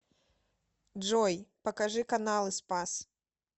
джой покажи каналы спас